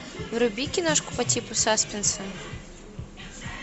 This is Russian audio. вруби киношку по типу саспенса